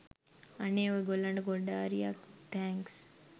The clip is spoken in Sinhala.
අනේ ඔය ගොල්ලන්ට ගොඩාරියක් තෑන්ක්ස්